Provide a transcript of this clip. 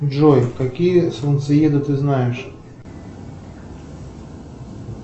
джой какие солнцееды ты знаешь